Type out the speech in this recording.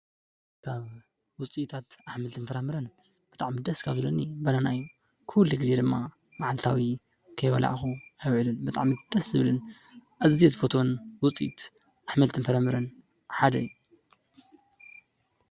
ውፅኢታት አሕምልትን ፍራምረን ብጣዕሚ ደስ ካብ ዝብለኒ ባናና እዩ። ኩሉ ግዜ ድማ መዓልታዊ ከይበላዕኩ አይውዕልን ብጣዕሚ ደስ ዝብልን አዝየ ዝፈትዎን ውፅኢት አሕምልትን ፍራምረን ሓደ እዩ።